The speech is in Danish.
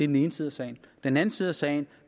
den ene side af sagen den anden side af sagen